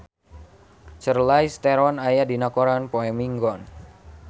Charlize Theron aya dina koran poe Minggon